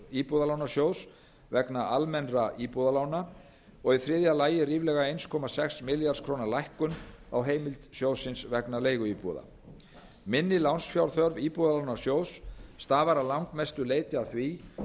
íbúðalánasjóðs vegna almennra íbúðalána og í þriðja lagi ríflega einn komma sex milljarðs króna lækkun á heimild sjóðsins vegna leiguíbúða minni lánsfjárþörf íbúðalánasjóðs stafar að langmestu leyti af því